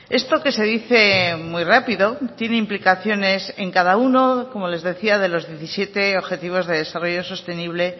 esto que se dice muy rápido tiene implicaciones en cada uno como les decía de los diecisiete objetivos de desarrollo sostenible